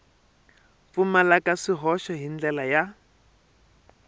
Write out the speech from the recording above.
pfumalaka swihoxo hi ndlela ya